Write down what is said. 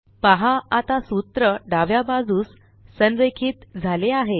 पहा आता सूत्र डाव्या बाजूस संरेखित झाले आहेत